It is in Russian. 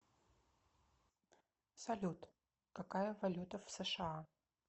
салют какая валюта в сша